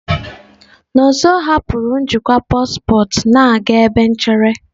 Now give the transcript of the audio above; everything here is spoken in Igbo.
Nonso hapụrụ njikwa paspọtụ na-aga ebe nchere.